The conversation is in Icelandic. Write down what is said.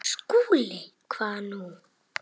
SKÚLI: Hvað nú?